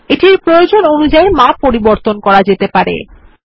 এটির প্রয়োজন অনুযায়ী মাপ পরিবর্তন করতে পারি